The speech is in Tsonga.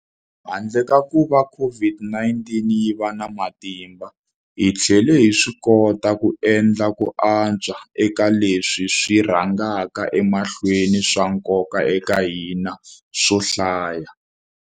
Handle ka kuva COVID-19 yi va na matimba, hi tlhele hi swikota ku endla ku antswa eka leswi swi rhangaka emahlweni swa nkoka eka hina swo hlaya.